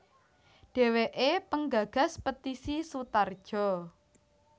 Dheweke penggagas Petisi Sutarjo